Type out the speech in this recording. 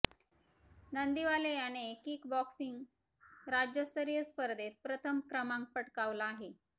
नंदीवाले याने kick boxing राज्यस्तरीय स्पर्धेत प्रथम क्रमांक पटकावला आहे